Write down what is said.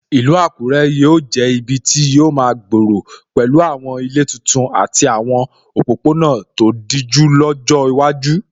Ìlú Àkúrẹ́ yóò jẹ́ ibi tí yóò máa gbòòrò pẹ̀lú àwọn ilé titun àti àwọn òpópónà tó dijú lọ́jọ́ iwájú.